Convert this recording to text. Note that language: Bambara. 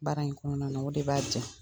Baara in kɔnɔna na, o de b'a ja.